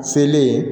Sele